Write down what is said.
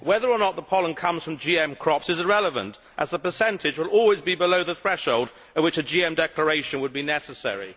Whether or not the pollen comes from GM crops is irrelevant, as the percentage will always be below the threshold at which a GM declaration would be necessary.